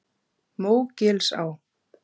Mógilsá